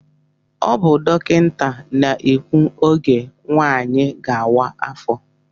Ọ bụ dọkịta na-ekwu ógè nwanyị gá-awa afọ.